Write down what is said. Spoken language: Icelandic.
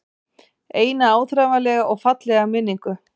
Eina áþreifanlega og fallega minningu.